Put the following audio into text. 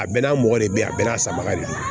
A bɛɛ n'a mɔgɔ de bɛ yen a bɛɛ n'a sanbagaw de